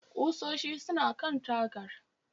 Ƙusoshin suna kan tagar